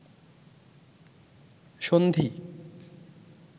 সন্ধি